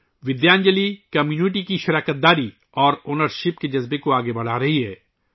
Vidyanjali community کی شرکت اور ملکیت کے جذبے کو فروغ دے رہی ہے